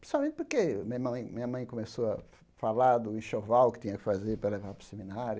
Principalmente porque minha mãe minha mãe começou a falar do enxoval que tinha que fazer para levar para o seminário.